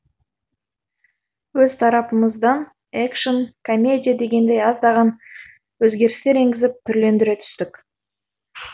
өз тарапымыздан экшн комедия дегендей аздаған өзгерістер енгізіп түрлендіре түстік